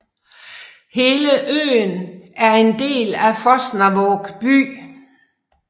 Hele øen er en del af Fosnavåg by